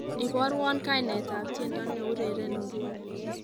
Iborwo kainetab tiendo neureren nguni